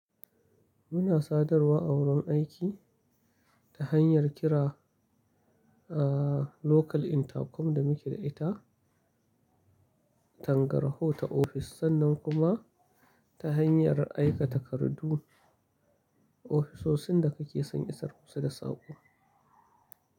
Muna sadarwa a wurin aiki ta hanyar kira a local intercom da muke da ita tangarho ta ofis sannan kuma ta hanyar aika takardu ofisoshin da kake son isar musu da saƙo.